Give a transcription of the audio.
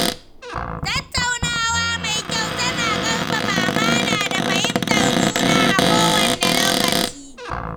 Tattaunawa mai kyau tana ƙarfafa amana da fahimtar juna a kowanne lokaci.